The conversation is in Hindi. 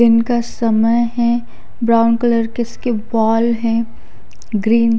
दिन का समय है ब्राउन कलर की उसकी बॉल है ग्रीन --